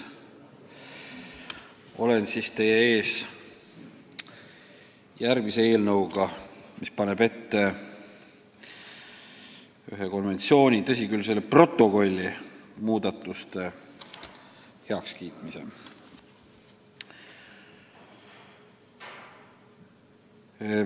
Olen teie ees järgmise eelnõuga, mis paneb ette kiita heaks ühe konventsiooni protokolli muudatused.